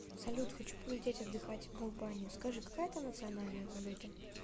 салют хочу полететь отдыхать в албанию скажи какая там национальная валюта